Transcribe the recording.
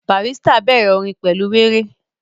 Barrister bẹ̀rẹ̀ orin pẹ̀lú wéré